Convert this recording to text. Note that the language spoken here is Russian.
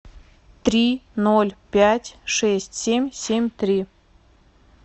три ноль пять шесть семь семь три